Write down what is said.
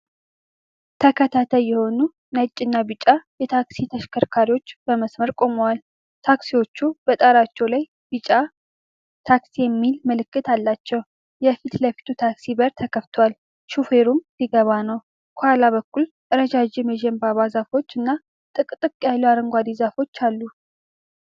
ተከታታይ የሆኑ ነጭና ቢጫ የታክሲ ተሽከርካሪዎች በመስመር ቆመዋል። ታክሲዎቹ በጣሪያቸው ላይ ቢጫ "TAXI" የሚል ምልክት አላቸው። የፊት ለፊቱ ታክሲ በር ተከፍቷል፤ ሹፌሩም ሊገባ ነው። ከኋላ በኩል ረዣዥም የዘንባባ ዛፎች እና ጥቅጥቅ ያሉ አረንጓዴ ዛፎች አሉ።